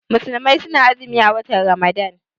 Musulmai suna azumi a watan ramadan